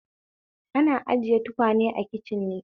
Ana ajiye tukwane a kicin ne